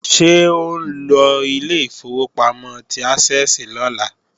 Ṣé ò ńlọ ilé ìfowópamọ́ ti Ásẹ́ẹ̀sì lọ́la